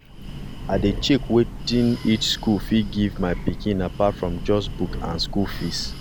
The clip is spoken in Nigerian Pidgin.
i dey check wetin each school fit give my pikin apart from just book and school fees